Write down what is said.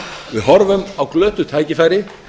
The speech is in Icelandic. við horfum á glötuð tækifæri